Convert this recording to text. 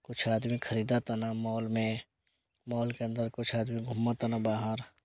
कुछ आदमी खरीदा ताना मॉल में मॉल के अन्दर कुछ आदमी घुमा ताना बाहर।